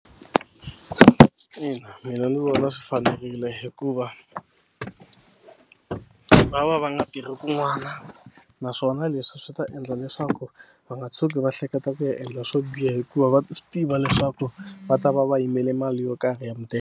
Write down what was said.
Ina mina ndzi vona swi fanerile hikuva va va va nga tirhi kun'wana naswona leswi swi ta endla leswaku va nga tshuki va hleketa ku ya endla swo biha hikuva va swi tiva leswaku va ta va va yimele mali yo karhi ya mudende.